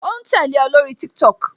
O ń tẹ́lẹ̀ o lórí TikTok